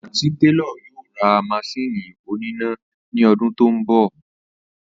Àntí télò̩ yóò ra mas̩íìnì oníná ni o̩dún tó ń bò̩